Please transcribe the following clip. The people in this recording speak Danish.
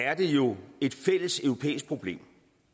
er det jo et fælles europæisk problem